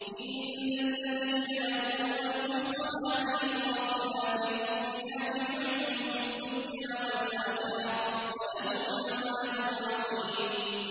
إِنَّ الَّذِينَ يَرْمُونَ الْمُحْصَنَاتِ الْغَافِلَاتِ الْمُؤْمِنَاتِ لُعِنُوا فِي الدُّنْيَا وَالْآخِرَةِ وَلَهُمْ عَذَابٌ عَظِيمٌ